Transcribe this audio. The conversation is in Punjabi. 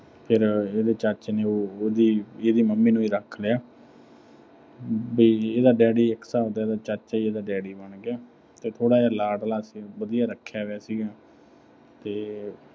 ਫਿਰ ਇਹਦੇ ਚਾਚੇ ਨੇ ਉਹਦੀ, ਇਹਦੀ mummy ਨੂੰ ਹੀ ਰੱਖ ਲਿਆ ਵੀ ਇਹਦਾ daddy ਇੱਕ ਤਰ੍ਹਾਂ ਦਾ ਇਹਦਾ ਚਾਚਾ ਹੀ ਇਹਦਾ daddy ਬਣ ਗਿਆ।